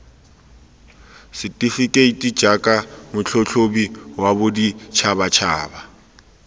setefekeiti jaaka motlhatlhobi wa boditšhabatšhaba